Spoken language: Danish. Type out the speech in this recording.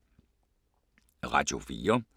Radio 4